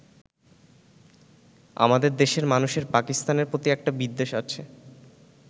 আমাদের দেশের মানুষের পাকিস্তানের প্রতি একটা বিদ্বেষ আছে।